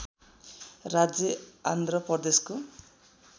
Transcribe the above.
राज्य आंध्र प्रदेशको